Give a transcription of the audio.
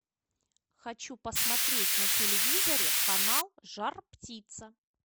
хочу посмотреть на телевизоре канал жар птица